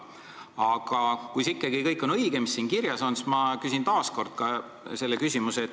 Aga kui see kõik on õige, mis siin kirjas on, siis ma küsin taas kord järgmise küsimuse.